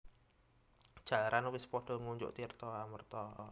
Jalaran wis padha ngunjuk tirta amreta